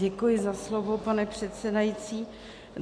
Děkuji za slovo, pane předsedající.